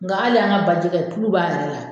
Nga ali an ka bajɛgɛ kulub'a yɛrɛ la